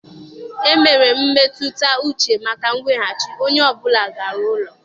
E mere mmetụta uche maka mweghachi onye ọ bụla gara n'ụlọ